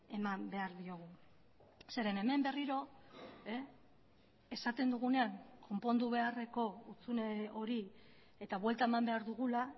eman behar diogu zeren hemen berriro esaten dugunean konpondu beharreko hutsune hori eta buelta eman behar dugula